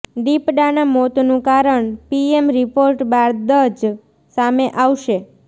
દીપડાના મોતનું કારણ PM report બાદ જ સામે આવશે